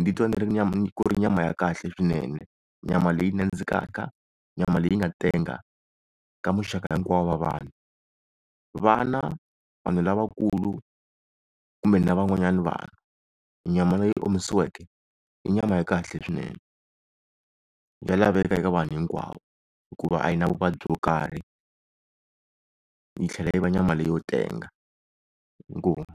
ndzi twa ni ri nyama nyama ya kahle swinene, nyama leyi nandzikaka nyama leyi nga tenga ka muxaka hinkwavo wa vana. Vana, vanhu lavakulu kumbe na van'wanyana vanhu, nyama leyi omisiweke i nyama ya kahle swinene ya laveka eka vanhu hinkwavo, hikuva a yi na vuvabyi byo karhi yi tlhela yi va nyama leyi yo tenga inkomu.